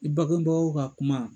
I bangebagaw ka kuma,